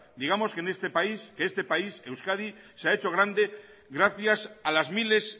digamos que este país euskadi se ha hecho grande gracias a las miles